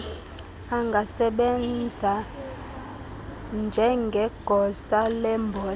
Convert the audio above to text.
angasebenza njngegosa lemboleko